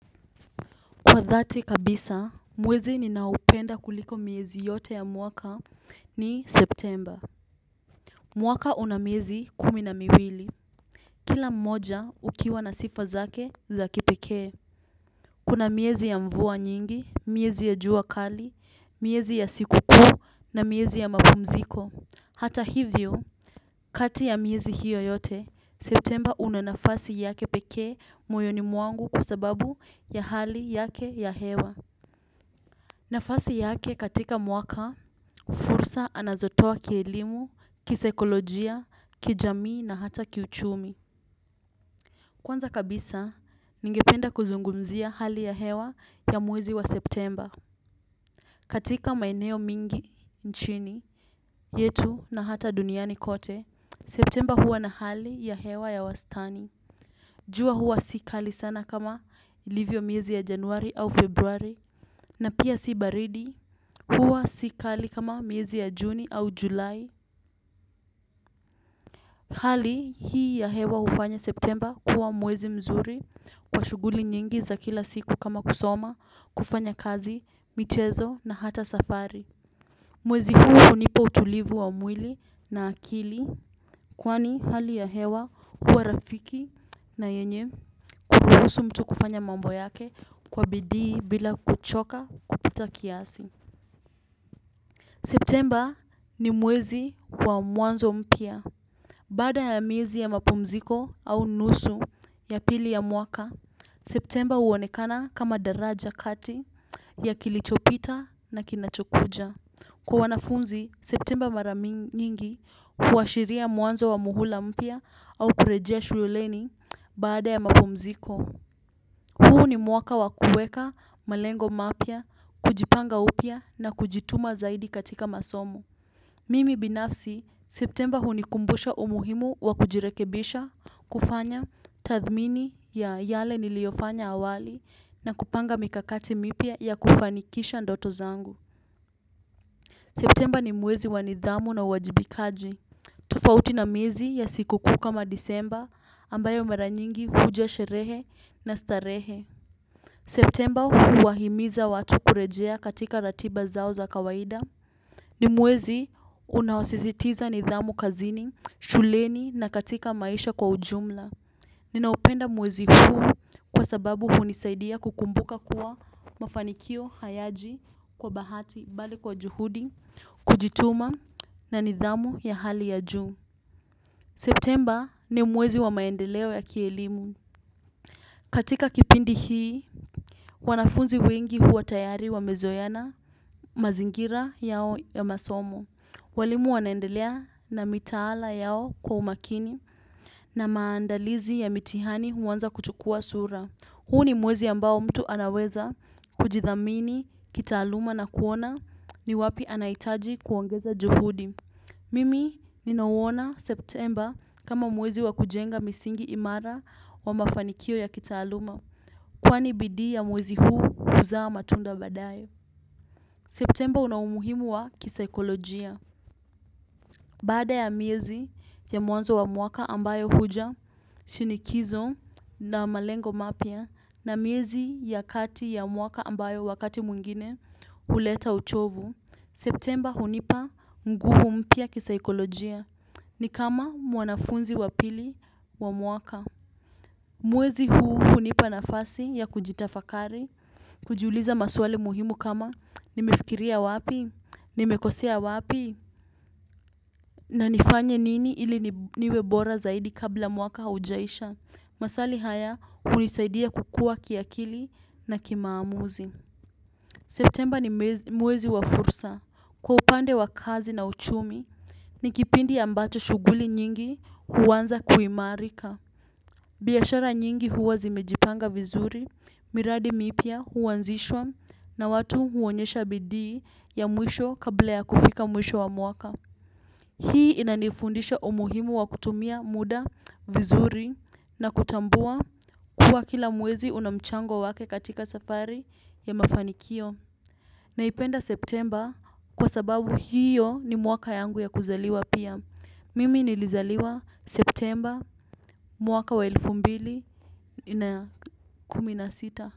Kwa dhati kabisa, mwezi ninao upenda kuliko miezi yote ya mwaka ni September. Mwaka una miezi kumi na miwili. Kila mmoja ukiwa na sifa zake za kipekee. Kuna miezi ya mvua nyingi, miezi ya jua kali, miezi ya sikukuu na miezi ya mapumziko. Hata hivyo, kati ya miezi hiyo yote, September una nafasi yake pekee moyoni mwangu kwa sababu ya hali yake ya hewa. Nafasi yake katika mwaka, fursa anazotoa kielimu, kisaikolojia, kijamii na hata kiuchumi. Kwanza kabisa, ningependa kuzungumzia hali ya hewa ya mwezi wa Septemba. Katika maeneo mingi nchini yetu na hata duniani kote, Septemba huwa na hali ya hewa ya wastani. Jua huwa si kali sana kama livyo miezi ya Januari au Februari na pia si baridi, huwa sikali kama miezi ya Juni au Julai. Hali hii ya hewa hufanya Septemba kuwa mwezi mzuri kwa shuguli nyingi za kila siku kama kusoma, kufanya kazi, michezo na hata safari. Mwezi huo hunioa utulivu wa mwili na akili kwani hali ya hewa huwa rafiki na yenye kuruhusu mtu kufanya mambo yake kwa bidii bila kuchoka kupita kiasi. Septemba ni mwezi wa mwanzo mpya. Baada ya miezi ya mapumziko au nusu ya pili ya mwaka, Septemba huonekana kama daraja kati ya kilichopita na kinachokuja. Kwa wanafunzi, Septemba mara nyingi huashiria mwanzo wa muhula mpya au kurejea shululeni baada ya mapumziko. Huu ni mwaka wa kueka malengo mapya, kujipanga upya na kujituma zaidi katika masomo. Mimi binafsi, Septemba hunikumbusha umuhimu wa kujirekebisha, kufanya tathmini ya yale niliyofanya awali na kupanga mikakati mipya ya kufanikisha ndoto zangu. Septemba ni mwezi wa nidhamu na uwajibikaji. Tofauti na miezi ya sikukuu kama Disemba ambayo mara nyingi huja sherehe na starehe. Septemba huwahimiza watu kurejea katika ratiba zao za kawaida. Ni mwezi uno sisitiza nidhamu kazini, shuleni na katika maisha kwa ujumla. Ninaupenda mwezi huu kwa sababu hunisaidia kukumbuka kuwa mafanikio hayaji kwa bahati bali kwa juhudi, kujituma na nidhamu ya hali ya juu. Septemba ni mwezi wa maendeleo ya kielimu. Katika kipindi hii, wanafunzi wengi huwa tayari wamezoeana, mazingira yao ya masomo. Walimu wanaendelea na mitaala yao kwa umakini na maandalizi ya mitihani huanza kuchukua sura. Huu ni mwezi ambao mtu anaweza kujithamini, kitaaluma na kuona ni wapi anaitaji kuongeza juhudi. Mimi ninauona Septemba kama mwezi wa kujenga misingi imara wa mafanikio ya kitaaluma. Kwani bidii ya mwezi huu huzaa matunda baadaye Septemba una umuhimu wa kisaikolojia. Baada ya miezi ya mwanzo wa mwaka ambayo huja shinikizo na malengo mapya, na miezi ya kati ya mwaka ambayo wakati mwingine huleta uchovu. Septemba hunipa nguvu mpya kisaikolojia. Ni kama mwanafunzi wa pili wa mwaka. Mwezi huu hunipa nafasi ya kujitafakari. Kujuliza maswali muhimu kama nimefikiria wapi, nimekosea wapi. Na nifanye nini ili niwe bora zaidi kabla mwaka haujaisha. Maswali haya hunisaidia kukua kiakili na kimaamuzi. Septemba ni mwezi wa fursa. Kwa upande wa kazi na uchumi, ni kipindi ambacho shughuli nyingi huanza kuimarika. Biashara nyingi huwa zimejipanga vizuri, miradi mipya huanzishwa na watu huonyesha bidii ya mwisho kabla ya kufika mwisho wa mwaka. Hii inanifundisha umuhimu wa kutumia muda vizuri na kutambua kuwa kila mwezi una mchango wake katika safari ya mafanikio. Naipenda Septemba kwa sababu hiyo ni mwaka yangu ya kuzaliwa pia. Mimi nilizaliwa Septemba mwaka wa elfu mbili na kumi na sita.